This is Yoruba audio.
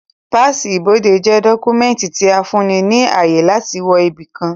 Páàsì ibodè jẹ́ dọ́kúmẹ̀ntì tí ó fún ni ní ààyè láti wọ ibi kan